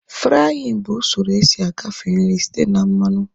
Fraaịn bụ usoro esi agafe nri site na mmanụ